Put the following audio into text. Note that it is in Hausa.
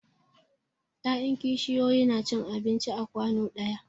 Ya'yan kishiyoyi na cin abinci a kwanu ɗaya.